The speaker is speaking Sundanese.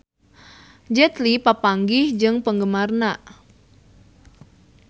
Jet Li papanggih jeung penggemarna